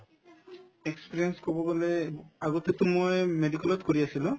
experience কব গলে আগতেতো মই medical ত কৰি আছিলো